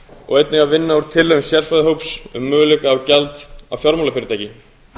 og einnig að vinna úr tillögum sérfræðihóps um möguleika á gjaldi af fjármálafyrirtæki